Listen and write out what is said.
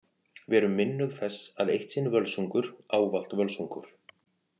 Verum minnug þess að Eitt sinn Völsungur ávallt Völsungur.